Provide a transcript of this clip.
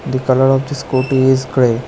The colour of the scooty is grey.